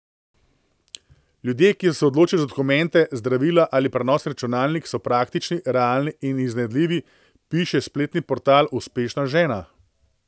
Ljudje, ki so se odločili za dokumente, zdravila ali prenosni računalnik, so praktični, realni in iznajdljivi, piše spletni portal Uspešna žena.